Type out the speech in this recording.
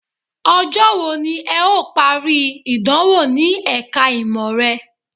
Ọjọ́ wo ni ẹ̀ ó parí ìdánwò ní ẹ̀ka ìmọ̀ rẹ?